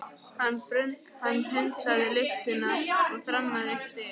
Hann hundsaði lyftuna og þrammaði upp stigana.